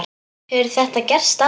Hefur þetta gerst áður?